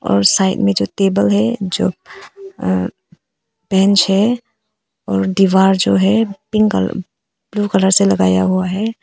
और साइड में जो टेबल है जो आ बेंच है और दीवार जो है पिंक कलर ब्लू कलर से लगाया हुआ है।